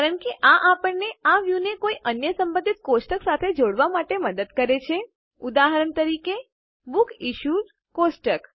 કારણ કે આ આપણને આ વ્યુ ને કોઇ અન્ય સંબંધિત કોષ્ટક સાથે જોડવા માટે મદદ કરે છે ઉદાહરણ તરીકે બુકસિશ્યુડ કોષ્ટક